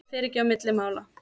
Það fer ekki á milli mála.